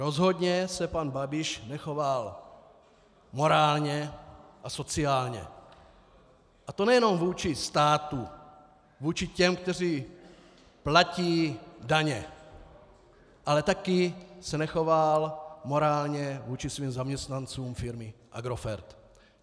Rozhodně se pan Babiš nechoval morálně a sociálně, a to nejenom vůči státu, vůči těm, kteří platí daně, ale taky se nechoval morálně vůči svým zaměstnancům firmy Agrofert.